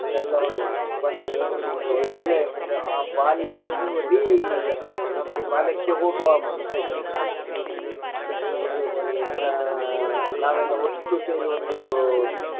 ಎಲ್ಲಾ ಒಂದು ನೆನಪ ಬಂದ ಒಂದು ಒಳ್ಳೆ ಒಂದು ಆ ಬಾಲ್ಯದ ಒಂದು re~ ನಮಗೆ ಬಾಲ್ಯಕ್ಕೆ ಹೋಗುವ ಮನಸಾಯ್ತು ದೇಪನ್ನ ಇದು ಆಹ್ ನಾವೆಲ್ಲಾ ಒಟ್ಟು ಸೇರಿ ಒಂದು .